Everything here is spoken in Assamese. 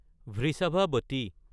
বৃষাভাৱতী